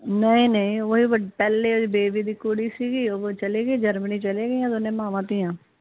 ਨਹੀਂ ਨਹੀਂ ਉਹ ਵੀ ਪਹਿਲੇ ਆਲੀ ਬੇਬੀ ਦੀ ਕੁੜੀ ਸੀਗੀ ਉਹੋ ਚਲੇ ਗਈ ਜਰਮਨੀ ਚਲੇ ਗਇਆ ਦੋਵੇਂ ਮਾਵਾਂ ਧੀਆਂ